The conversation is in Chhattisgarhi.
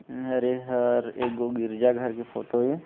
अर ऐ हर ए गो गिरजा घर के फोटो ऐ --